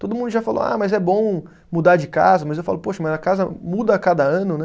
Todo mundo já falou, ah, mas é bom mudar de casa, mas eu falo, poxa, mas a casa muda a cada ano, né?